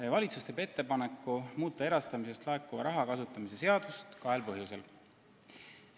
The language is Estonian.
Meie valitsus teeb ettepaneku muuta erastamisest laekuva raha kasutamise seadust kahel põhjusel.